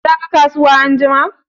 Za ka kasuwa anjima?